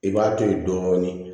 I b'a to ye dɔɔnin